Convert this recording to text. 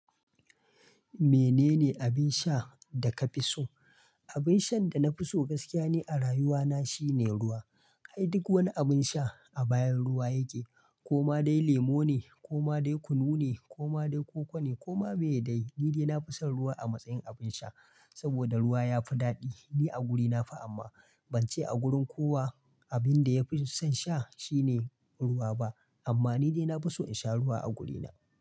Menene abin sha da ka fi so? Abin shan da na fi so gaskiya ne a rayuwa na shine ruwa. Kai duk wani abin sha a bayan ruwa yake. Koma dai lemo ne, koma dai kunu ne, koma dai koko ne koma me dai. Ni dai na fi son ruwa a matsayin abin sha. Saboda ruwa ya fi daɗi ni a wurina fa amma ban ce a wurin kowa abin da ya fi son sha shine ruwa ba. Amma ni dai na fi so in sha ruwa a wurina.